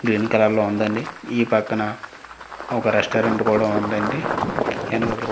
green కలర్లో ఉందండి ఈ పక్కన ఒక రెస్టారెంట్ కూడా ఉందండి --